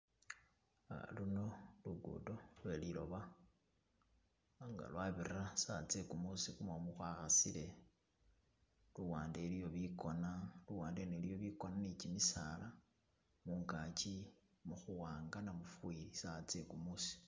Luno lugudo lweliloba nga lwabira sawa tse gumusi gumumu gwakhasile, luwande iliyo bigona luwande iliyo bigona ni gimisaala mungagi mukhuwanga namufeli sawa ttse gumusi.